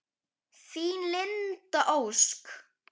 Þín, Linda Ósk.